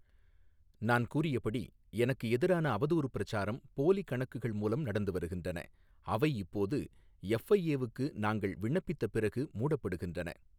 நான் கூறியபடி, எனக்கு எதிரான அவதூறு பிரச்சாரம் போலி கணக்குகள் மூலம் நடந்து வருகின்றன, அவை இப்போது எஃப்ஐஏ வுக்கு நாங்கள் விண்ணப்பித்த பிறகு மூடப்படுகின்றன.